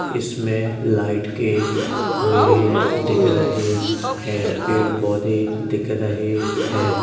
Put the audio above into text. इसमें लाइट के खंबें दिख रहे हैं। पेड़ पौधे दिख रहे हैं।